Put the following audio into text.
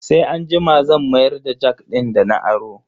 Sai anjima zan mayar da jak din dana aro.